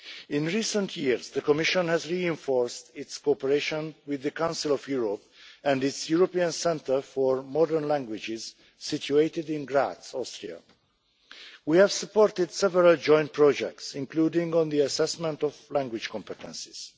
In recent years, the Commission has reinforced its cooperation with the Council of Europe and its European Centre for Modern Languages, situated in Graz, Austria. We have supported several joint projects, including on the assessment of language competences.